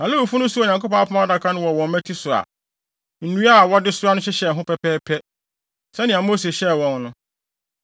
Na Lewifo no soaa Onyankopɔn Apam Adaka no wɔ wɔn mmati so a, nnua a wɔde soa no hyehyɛ ho pɛpɛɛpɛ, sɛnea Mose hyɛɛ wɔn no.